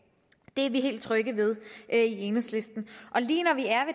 er vi helt trygge ved i enhedslisten lige når vi er